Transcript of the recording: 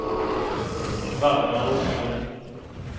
Valdemar Åkerlund